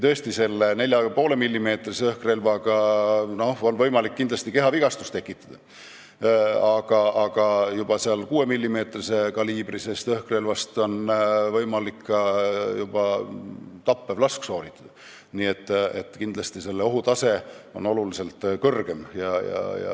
Sest selle 4,5-millimeetrise kaliibriga õhkrelvaga on võimalik kindlasti kehavigastus tekitada, aga 6-millimeetrise kaliibriga õhkrelvaga võib sooritada juba tapva lasu, nii et selle ohutase on oluliselt kõrgem.